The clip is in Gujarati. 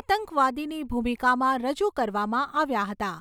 આતંકવાદીની ભૂમિકામાં રજૂ કરવામાં આવ્યા હતા.